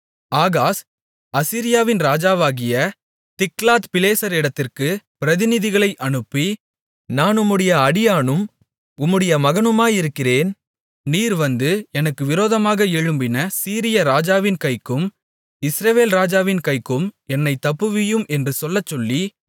Ahaz அசீரியாவின் ராஜாவாகிய திகிலாத்பிலேசரிடத்திற்கு பிரதிநிதிகளை அனுப்பி நான் உம்முடைய அடியானும் உம்முடைய மகனுமாயிருக்கிறேன் நீர் வந்து எனக்கு விரோதமாக எழும்பின சீரியா ராஜாவின் கைக்கும் இஸ்ரவேல் ராஜாவின் கைக்கும் என்னைத் தப்புவியும் என்று சொல்லச் சொல்லி